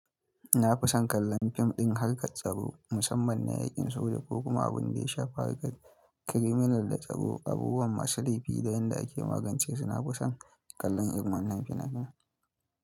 Na fi son kallon fim ɗin harkar tsaro musamman na yaƙin soja ko kuma abin da ya shafi harkar kiriminal da tsaro, abubuwan masu laifi da yanda ake magance su. Na fi son kallon irin wannan fina-finan.